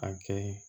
A kɛ